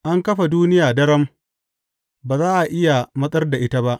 An kafa duniya daram; ba za a iya matsar da ita ba.